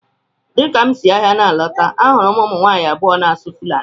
Dịka m si ahịa na-alọta, ahụrụ m ụmụ nwaanyị abụọ na-asụ Fulani.